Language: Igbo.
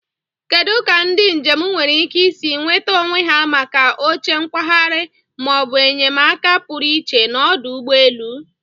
Kedu ka ndị njem nwere ike isi nweta onwe ha maka oche nkwagharị ma ọ bụ enyemaka pụrụ iche n'ọdụ ụgbọ elu?